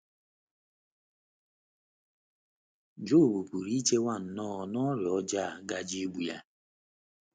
Job pụrụ ichewo nnọọ na ọrịa ọjọọ a gaje igbu ya.